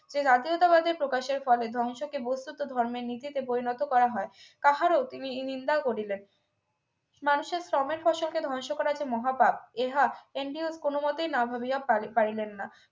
যে জাতীয়তাবাদী প্রকাশের ফলে ধ্বংস কে বস্তুত ধর্মের নীচেতে পরিণত করা হয় তাহারা তিনি নিন্দা করলেন মানুষের শ্রমের ফসল কে ধ্বংস করা যে মহাপাপ ইহা কোনমতেই আন্দ্রেও না ভাবিয়া পারিলেন না